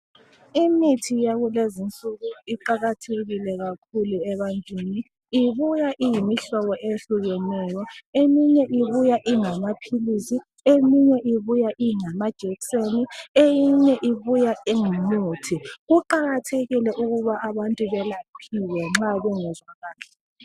Imithi yakulezi insuku iqakathekile kakhulu ebantwini ibuya iyimihlobo eyehlukeneyo. Eminye ibuya ingama philisi, eminye ibuya ingama jekiseni, eyinye ibuya ingumuthi. Kuqakathekile ukuba abantu belaphiwe nxa bengezwa kahle.